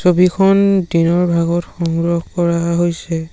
ছবিখন-- দিনৰ ভাগত সংগ্ৰহ কৰা হৈছে।